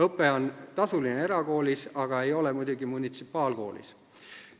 Õpe on tasuline erakoolis, aga ei ole muidugi munitsipaalkoolis.